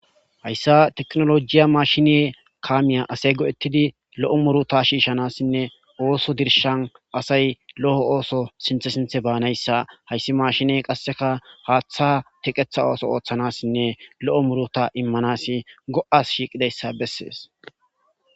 Hayssa tekinolojiya msashine kaamiya asay go'ettidi lo'o muuruta shiishanassinne ooso dirshan asay lo'o ooso sinththe sinththe baanayssa hayssi maashine qasekka haaththa teqeththa ooso ooththanassinne lo'o muuruta iimmanasi go'as shiiqqidayssa bessees